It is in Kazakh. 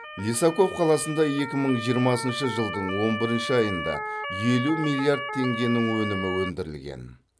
лисаков қаласында екі мың жиырмасыншы жылдың он бірінші айында елу миллиард теңгенің өнімі өндірілген